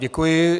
Děkuji.